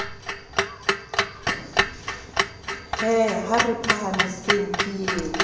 he ha re phahamiseng ke